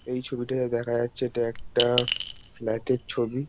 এই ছবিটা যা দেখা যাচ্ছে এটা একটা ফি-ফ্ল্যাটের ছবি।